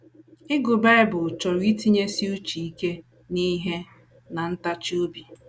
Ịgụ Bible chọrọ itinyesi uche ike n’ihe na ntachi obi.